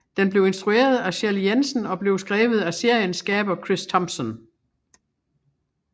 Den blev instrueret af Shelley Jensen og den blev skrevet af seriens skaber Chris Thompson